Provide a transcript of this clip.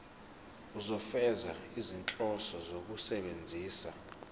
ukufeza izinhloso zokusebenzisa